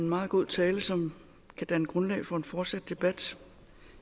en meget god tale som kan danne grundlag for en fortsat debat